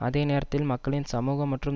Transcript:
அதே நேரத்தில் மக்களின் சமூக மற்றும்